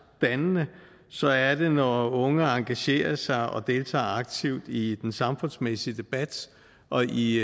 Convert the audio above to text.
dannende så er det når unge engagerer sig og deltager aktivt i den samfundsmæssige debat og i